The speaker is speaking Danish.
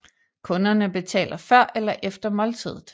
Kunderne betaler før eller efter måltidet